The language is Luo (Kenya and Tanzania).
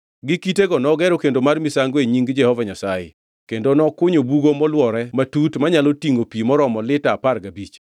Gi kitego nogero kendo mar misango e nying Jehova Nyasaye; kendo nokunyo bugo molwore matut manyalo tingʼo pi maromo lita apar gabich.